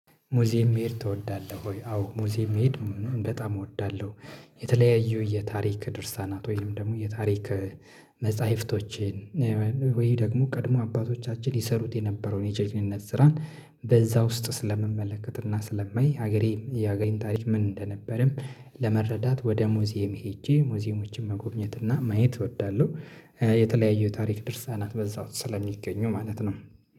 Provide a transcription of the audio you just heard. ሙዚየም መሄድ ትወዳለህ ወይ? አዎ ሙዚየም መሄድ በጣም እወዳለሁ የተለያዩ የታሪክ ድርሳናት ወይም ደግሞ የታሪክ መጽሐፍቶችን ወይ ደግሞ ቀድሞ አባቶቻችን ይሰሩት የነበረውን የጀግንነት ስራን በዛ ውስጥ ስለምመለከት እና ስለማይ ሀገሬን የሀገሬን ታሪክ ምን እንደነበረም ለመረዳት ወደ ሙዚየም ሄጄ ሙዚየሞችን መጎብኘት እና ማየት እወዳለሁ የተለያየ ታሪክ ድርሳናት በዛው ስለሚገኙ ማለት ነው